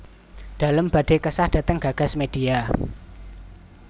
Dalem badhe kesah dhateng Gagas Media